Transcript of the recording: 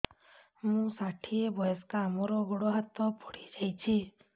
ମୁଁ ଷାଠିଏ ବୟସ୍କା ମୋର ଗୋଡ ହାତ ପଡିଯାଇଛି